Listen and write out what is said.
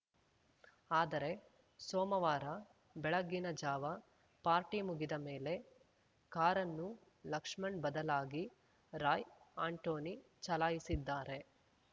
ಆದರೆ ಸೋಮವಾರ ಬೆಳಗಿನ ಜಾವ ಪಾರ್ಟಿ ಮುಗಿದ ಮೇಲೆ ಕಾರನ್ನು ಲಕ್ಷ್ಮಣ್‌ ಬದಲಾಗಿ ರಾಯ್‌ ಆಂಟೋನಿ ಚಲಾಯಿಸಿದ್ದಾರೆ